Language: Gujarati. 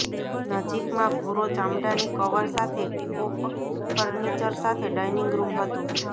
નજીકમાં ભુરો ચામડાની કવર સાથે ઓક ફર્નીચર સાથે ડાઇનિંગ રૂમ હતું